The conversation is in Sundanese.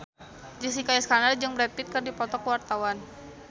Jessica Iskandar jeung Brad Pitt keur dipoto ku wartawan